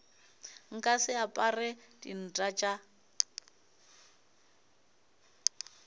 nka se apare dinta tša